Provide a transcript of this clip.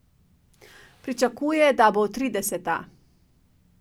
Pričakuje, da bo trideseta.